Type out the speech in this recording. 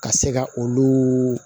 Ka se ka olu